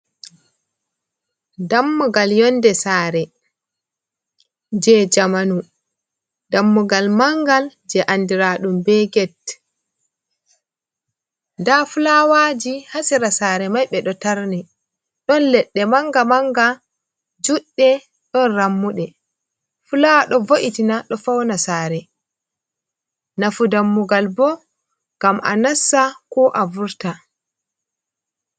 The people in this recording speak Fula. Dammugal yonde sare je jamanu dammugal mangal je andiraɗum be gate, nda fulawaji hasira sare mai ɓeɗo tarni don leɗɗe manga manga juɗɗe don rammuɗe fulawa ɗo vo’itina ɗo fauna sare nafu dammugal bo ngam a nasta ko a vurta.